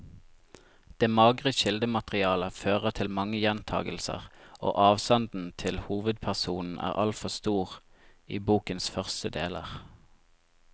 Det magre kildematerialet fører til mange gjentagelser, og avstanden til hovedpersonen er altfor stor i bokens første deler.